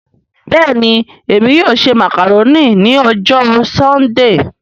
Bẹ́ẹ̀ni Emi yóò ṣe macaroni ni ọjọ Sundee